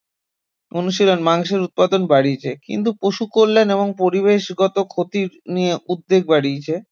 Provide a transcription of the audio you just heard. অনুশীলন মাংসের উৎপাদন বাড়িয়েছে কিন্তু পশু কল্যাণ এবং পরিবেশগত ক্ষতি নিয়ে উদ্বেগ বাড়িয়েছে